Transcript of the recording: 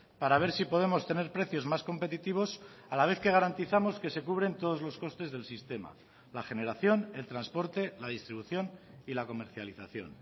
para ver si podemos tener precios más competitivos a la vez que garantizamos que se cubren todos los costes del sistema la generación el transporte la distribución y la comercialización